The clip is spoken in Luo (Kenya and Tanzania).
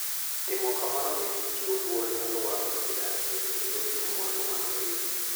Timo kamano miyo ji chiwo luor ne alwora ma gidakie kendo rito mwandu mag piny.